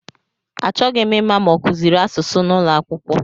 Achọghị ịma ma ọ kụziri asụsụ n'ụlọakwụkwọ